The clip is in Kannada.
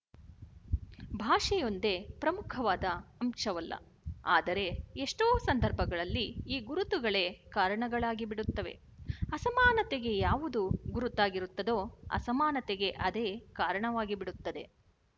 ಭಾಷೆಯೊಂದೇ ಪ್ರಮುಖವಾದ ಅಂಶವಲ್ಲ ಆದರೆ ಎಷ್ಟೋ ಸಂದರ್ಭಗಳಲ್ಲಿ ಈ ಗುರುತುಗಳೇ ಕಾರಣಗಳಾಗಿಬಿಡುತ್ತವೆ ಅಸಮಾನತೆಗೆ ಯಾವುದು ಗುರುತಾಗಿರುತ್ತದೋ ಅಸಮಾನತೆಗೆ ಅದೇ ಕಾರಣವಾಗಿಬಿಡುತ್ತದೆ